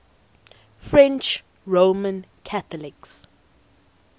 french roman catholics